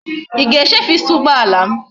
I ga echefu i saa ugboala m?